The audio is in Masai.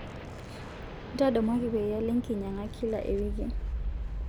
ntadamuaki peyie alo enkinyaga kila ewiki